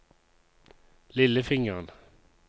lillefingeren